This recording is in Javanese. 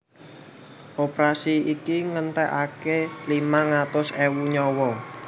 Operasi iki ngentèkaké limang atus ewu nyawa